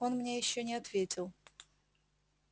он мне ещё не ответил